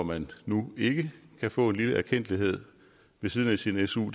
man nu ikke kan få en lille erkendtlighed ved siden af sin su